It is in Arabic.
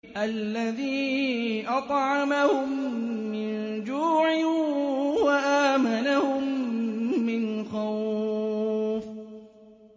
الَّذِي أَطْعَمَهُم مِّن جُوعٍ وَآمَنَهُم مِّنْ خَوْفٍ